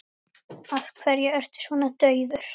Af hverju ertu svona daufur?